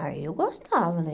Ah, eu gostava, né?